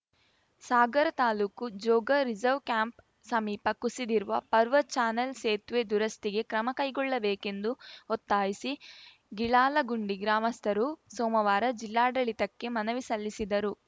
ಸಾಗರ ತಾಲೂಕು Jog reserve camp ಸಮೀಪ ಕುಸಿದಿರುವ ಪರ್ವ ಚಾನೆಲ್‌ ಸೇತುವೆ ದುರಸ್ತಿಗೆ ಕ್ರಮ ಕೈಗೊಳ್ಳಬೇಕೆಂದು ಒತ್ತಾಯಿಸಿ ಗಿಳಾಲಗುಂಡಿ ಗ್ರಾಮಸ್ಥರು ಸೋಮವಾರ ಜಿಲ್ಲಾಡಳಿತಕ್ಕೆ ಮನವಿ ಸಲ್ಲಿಸಿದರು